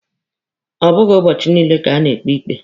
Ọ bụghị ụbọchị niile ka a na-ekpe ikpe.